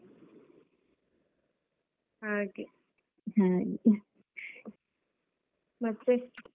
ಮತ್ತೆ?